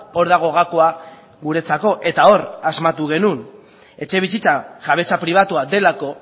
hor dago gakoa guretzako eta hor asmatu genuen etxebizitza jabetza pribatua delako